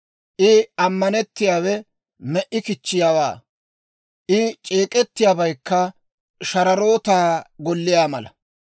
I ammanettiyaawe me"i kichchiyaawaa; I c'eek'ettiyaabaykka shararootaa golliyaa mala.